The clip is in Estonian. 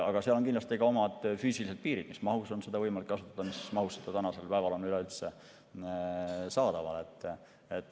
Aga seal on kindlasti omad füüsilised piirid, mis mahus on seda võimalik kasutada, mis mahus see on üleüldse saadaval.